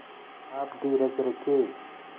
आप धीरज रखें